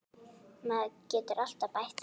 Maður getur alltaf bætt það.